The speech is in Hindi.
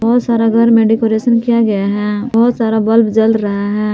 बहोत सारा घर में डेकोरेट किया गया है बहोत सारा बल्ब जल रहा है।